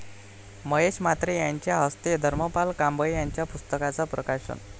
महेश म्हात्रे यांच्या हस्ते धर्मपाल कांबळे यांच्या पुस्तकांचं प्रकाशन